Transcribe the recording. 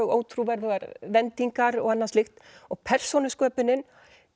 ótrúverðugar vendingar og annað slíkt og persónusköpunin